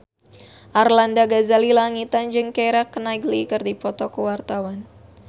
Arlanda Ghazali Langitan jeung Keira Knightley keur dipoto ku wartawan